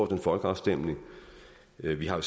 en folkeafstemning vi vi har